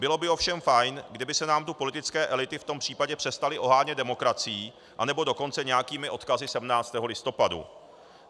Bylo by ovšem fajn, kdyby se nám tu politické elity v tom případě přestaly ohánět demokracií, anebo dokonce nějakými odkazy 17. listopadu.